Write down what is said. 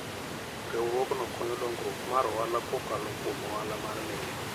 Riwruogno konyo dongruok mar ohala kokalo kuom ohala mar meli.